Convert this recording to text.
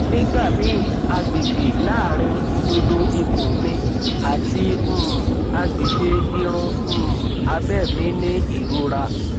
nigbamii agbegbe laarin idodo ikun mi ati um agbegbe irun um abe mi ni irora